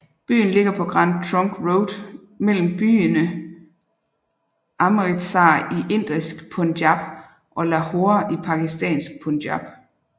Byen ligger på Grand Trunk Road mellem byene Amritsar i indisk Punjab og Lahore i pakistansk Punjab